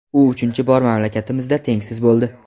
U uchinchi bor mamlakatimizda tengsiz bo‘ldi.